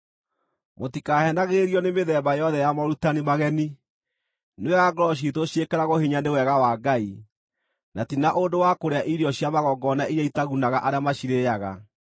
Mũtikaheenagĩrĩrio nĩ mĩthemba yothe ya morutani mageni. Nĩ wega ngoro ciitũ ciĩkĩragwo hinya nĩ Wega wa Ngai, na ti na ũndũ wa kũrĩa irio cia magongona iria itagunaga arĩa macirĩĩaga.